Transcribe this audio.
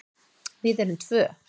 Við erum tvö.